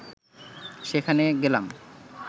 সেখানে গেলাম